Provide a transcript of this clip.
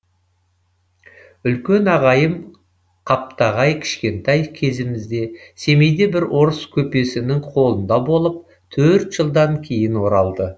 үлкен ағайым қаптағай кішкентай кезімізде семейде бір орыс көпесінің қолында болып төрт жылдан кейін оралды